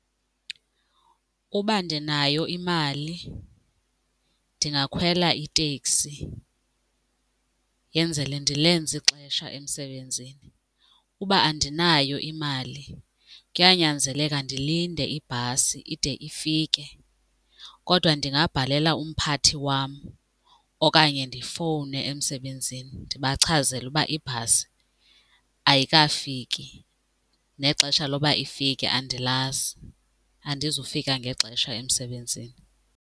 Uba ndinayo imali ndingakhwela iteksi yenzele ndilenze ixesha emsebenzini, uba andinayo imali kuyanyanzeleka ndilinde ibhasi ide ifike. Kodwa ndingabhalela umphathi wam okanye ndifowune emsebenzini ndibachazele uba ibhasi ayikafiki nexesha loba ifike andilazi andizufika ngexesha emsebenzini.